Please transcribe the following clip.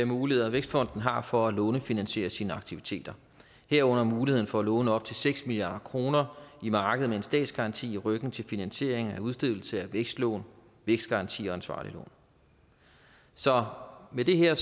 muligheder vækstfonden har for at lånefinansiere sine aktiviteter herunder muligheden for at låne op til seks milliard kroner i markedet med en statsgaranti i ryggen til finansiering af udstedelse af vækstlån vækstgarantier og ansvarlige lån så med det her